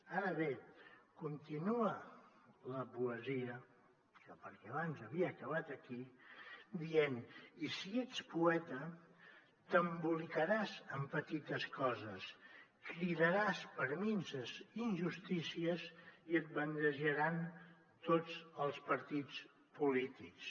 ara bé continua la poesia perquè abans havia acabat aquí dient i si ets poeta t’embolicaràs en petites coses cridaràs per minses injustícies i et bandejaran tots els partits polítics